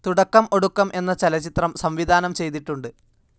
തുടക്കം ഒടുക്കം എന്ന ചലച്ചിത്രം സംവിധാനം ചെയ്തിട്ടുണ്ട്.